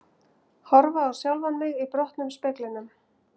Horfa á sjálfan mig í brotnum speglinum.